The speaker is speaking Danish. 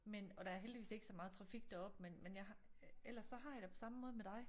Men og der er heldigvis ikke så meget trafik deroppe men men jeg har ellers så har jeg det på samme måde med dig